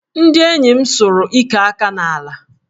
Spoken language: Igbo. Ndị enyi m sụrụ ike aka n'ala